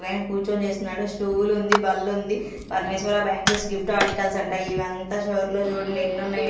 పైన కూర్చొని చేస్తున్నాడు స్టూల్ ఉంది బల్లుంది పరమేశ్వర బ్యాంగిల్స్ గిఫ్ట్ ఆర్టికల్స్ అంట ఇవంతా షోర్ లో చూడండి ఎన్నున్నయో.